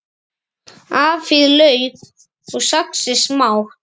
Afhýðið lauk og saxið smátt.